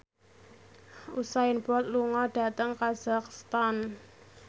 Usain Bolt lunga dhateng kazakhstan